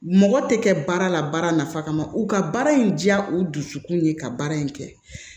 Mɔgɔ tɛ kɛ baara la baara nafa kama u ka baara in diya u dusukun ye ka baara in kɛ